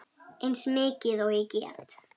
Eins mikið og ég get.